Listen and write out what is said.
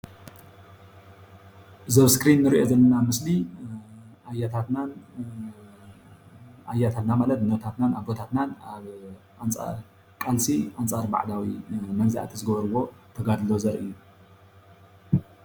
እዚ ኣብ እስክሪን እንሪኦ ዘለና ምስሊ ኣያታትናን ማለት እኖታትናን ኣቦታትና ኣብ ቃልሲ ኣንፃር ባዕዳዊ መግዛእቲ ዝገበርዎ ተጋድሎ ዘርኢ እዩ፡፡